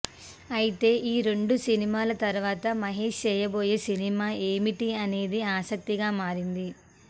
అయితే ఈ రెండు సినిమాల తర్వాత మహేష్ చేయబోయే సినిమా ఏమిటి అనేది ఆసక్తిగా మారింది